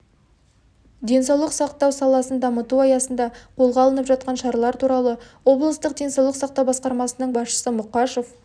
денсаулық сақтау саласын дамыту аясында қолға алынып жатқан шаралар туралы облыстық денсаулық сақтау басқармасының басшысы мұқашев